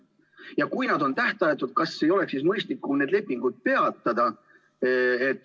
Ja kui nad on tähtajatud, kas ei oleks siis mõistlikum need lepingud peatada?